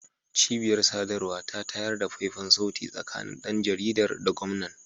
Cibiyar sadarwa ta tayar da faifan sauti tsakanin dan jaridar da gwamnan